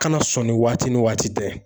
Kana sɔn ni waati ni waati tɛ